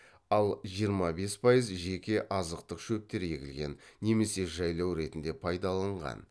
ал жиырма бес пайыз жеке азықтық шөптер егілген немесе жайлау ретінде пайдаланған